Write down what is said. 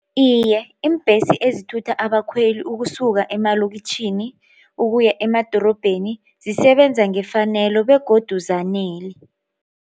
Iye iimbhesi ezithutha abakhweli ukusuka emalokitjhini ukuya emadorobheni zisebenza ngefanelo begodu zanele.